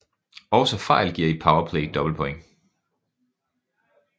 Også fejl giver i Power Play dobbeltpoint